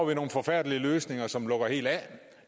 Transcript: vi nogle forfærdelige løsninger som lukker helt af